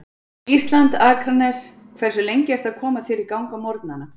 Ísland, Akranes Hversu lengi ertu að koma þér í gang á morgnanna?